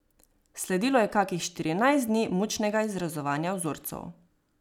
Sledilo je kakih štirinajst dni mučnega izrezovanja vzorcev.